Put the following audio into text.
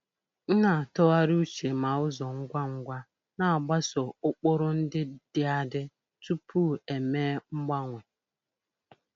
M na-atụgharị uche ma ụzọ ngwa ngwa na-agbaso ụkpụrụ ndị dị adị tupu eme mgbanwe.